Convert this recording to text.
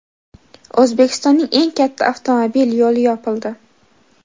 O‘zbekistonning eng katta avtomobil yo‘li yopildi.